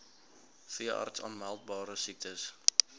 veeartse aanmeldbare siektes